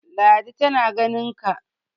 ladi tana ganinka!